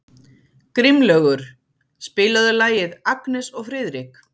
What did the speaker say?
Grímlaugur, spilaðu lagið „Agnes og Friðrik“.